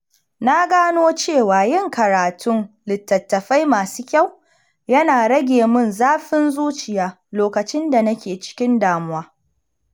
Na gano cewa yin karatun littattafai masu kyau yana rage mun zafin zuciya lokacin da nake cikin damuwa.